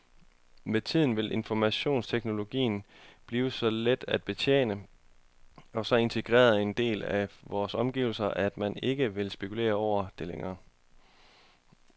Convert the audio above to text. Med tiden vil informationsteknologien blive så let at betjene og så integreret en del af vores omgivelser, at man ikke vil spekulere over det længere.